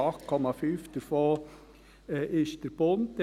8,5 Prozent davon ist der Bund.